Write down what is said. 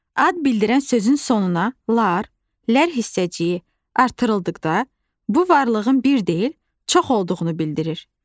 Ad bildirən sözün sonuna -lar, -lər hissəciyi artırıldıqda, bu varlığın bir deyil, çox olduğunu bildirir.